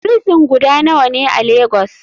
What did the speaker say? Frison guda nawane a lagos?